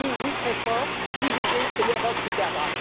Unis, nous serons forts, divisés, c'est l'Europe qui perdra.